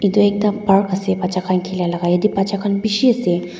etu ekta park ase batchaa khan khelai jatte batchaa khan bisi ase.